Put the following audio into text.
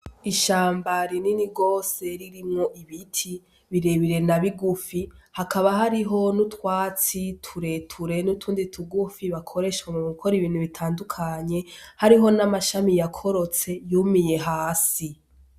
Ishamba rinini gose ririmwo ibiti birebire na bigufi, hakaba hariho n'utwatsi turere n'utundi tugufi bakoresha mugukora ibintu bitandukanye hariho n'amashami yakorotse yumiye hasi.